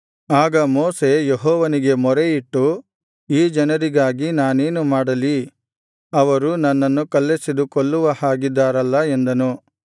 ಆಗ ಮೋಶೆ ಯೆಹೋವನಿಗೆ ಮೊರೆಯಿಟ್ಟು ಈ ಜನರಿಗಾಗಿ ನಾನೇನು ಮಾಡಲಿ ಅವರು ನನ್ನನ್ನು ಕಲ್ಲೆಸೆದು ಕೊಲ್ಲುವ ಹಾಗಿದ್ದಾರಲ್ಲ ಎಂದನು